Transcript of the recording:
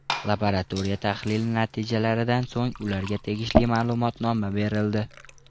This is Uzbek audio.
Laboratoriya tahlili natijalaridan so‘ng ularga tegishli ma’lumotnoma berildi.